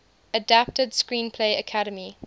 adapted screenplay academy